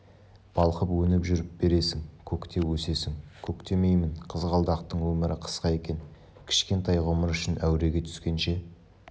балқып өніп жүріп бересің көктеп өсесің көктемеймін қызғалдақтың өмірі қысқа екен кішкентай ғұмыр үшін әуреге түскенше